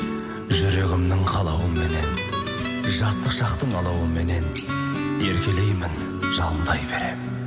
жүрегімнің қалауыменен жастық шақтың алауыменен еркелеймін жалындай беремін